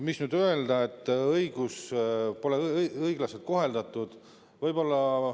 Mis nüüd öelda selle kohta, et pole õiglaselt koheldud?